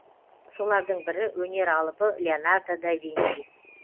солардың бірі өнер алыбы леонардо да винчи